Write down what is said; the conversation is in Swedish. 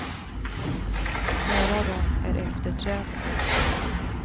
Några av dem är efter träden.